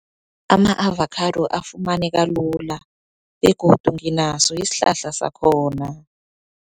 Ama-avocado afumaneka lula, begodu nginaso isihlahla sakhona.